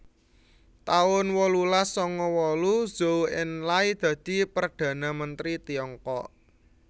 taun wolulas sanga wolu Zhou Enlai dadi Perdhana Mentri Tiongkok